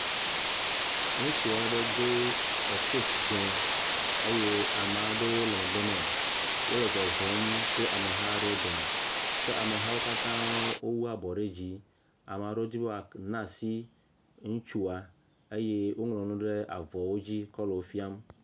Le tenisi bɔl ƒoƒe. Ŋutsuwo do dzesewo kple afɔkpawo eye wodo afɔwuie, eɖewo le ʋie eye aɖewo le yelo. Wodo afɔkpa dzɛ kple yibɔ. Wodo afɔkpa yibɔ kple ʋi eye wole yame kpɔm bɔl le. Amewo hã nɔ anyi ɖe teƒe ma be woakpɔ alesi wokɔ le bɔl la ƒom me.